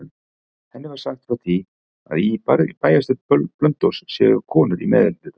Henni er sagt frá því að í bæjarstjórn Blönduóss séu konur í meirihluta.